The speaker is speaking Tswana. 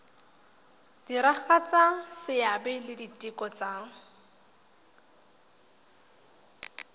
diragatsa seabe le ditiro tsa